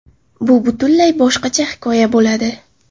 Bu butunlay boshqacha hikoya bo‘ladi.